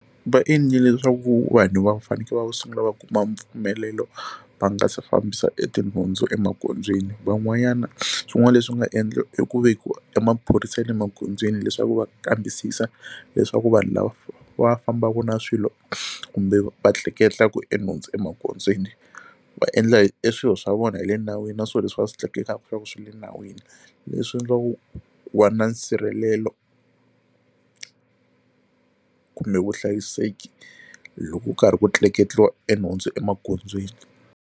Va endlile leswaku vanhu va fanekele va sungula va kuma mpfumelelo va nga si fambisa etinhundzu emagondzweni van'wanyana swin'wana leswi nga endli i ku vekiwa emaphorisa ya le magondzweni leswaku va kambisisa leswaku vanhu lava va fambaka na swilo kumbe va tleketlaku enhundzu emagondzweni va endla eswilo swa vona hi le nawini na swo leswi va swi tleketlaka swa ku swi le nawini leswi endliwaku ku va na nsirhelelo kumbe vuhlayiseki loko ku karhi ku tleketliwa enhundzu emagondzweni.